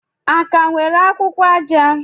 A ka nwere akwụkwọ aja?